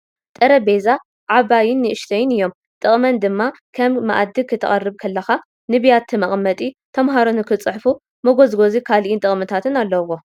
ጠረቤዛ ዓብይን ኣናእሽትን እዮም ። ጥቅመን ድማ ክም መኣዲ ክተቅርብ ከለካ ንቢያቲ ምቅመጢ ፡ተምሃሮ ንክፅሕፉ መጎዝጎዚ ካሊእን ጥቅምታት ኣለዎ ።